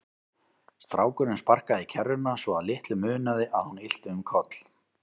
Strákurinn sparkaði í kerruna svo að litlu munaði að hún ylti um koll.